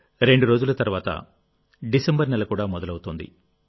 రెండు రోజుల తర్వాత డిసెంబరు నెల కూడా మొదలవుతోంది